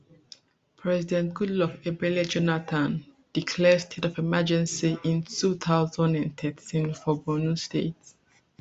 president goodluck ebele jonathan declare state of emergency in two thousand and thirteen for borno state